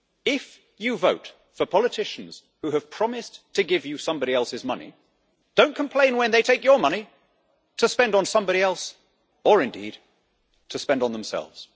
If you vote for politicians who have promised to give you somebody else's money, do not complain when they take your money to spend on somebody else, or indeed to spend on themselves.